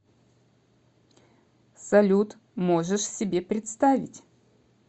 салют можешь себе представить